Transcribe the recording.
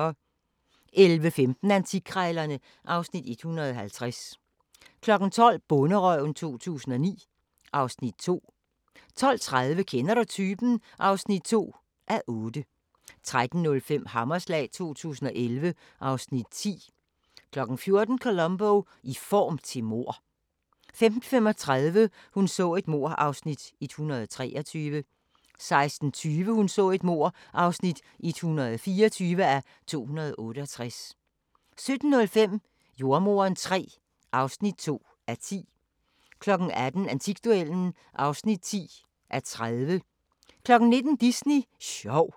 11:15: Antikkrejlerne (Afs. 150) 12:00: Bonderøven 2009 (Afs. 2) 12:30: Kender du typen? (2:8) 13:05: Hammerslag 2011 (Afs. 10) 14:00: Columbo: I form til mord 15:35: Hun så et mord (123:268) 16:20: Hun så et mord (124:268) 17:05: Jordemoderen III (2:10) 18:00: Antikduellen (10:30) 19:00: Disney sjov